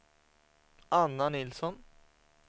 Anna Nilsson